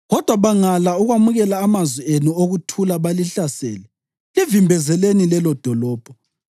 Kodwa bangala ukwamukela amazwi enu okuthula balihlasele, livimbezeleni lelodolobho.